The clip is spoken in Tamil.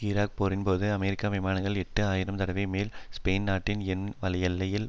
ஈராக் போரின்போது அமெரிக்க விமானங்கள் எட்டு ஆயிரம் தடவைக்கும் மேல் ஸ்பெயின் நாட்டின் வான் எல்லையில்